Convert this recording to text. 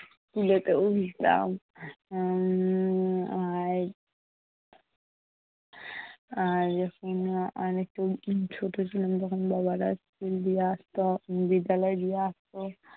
উঠতাম উম আর অনেকটা উম ছোট ছিলাম তখন বাবারা দিয়ে school আসতো। বিদ্যালয়ে দিয়ে আসতো।